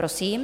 Prosím.